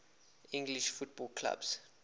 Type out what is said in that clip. english football clubs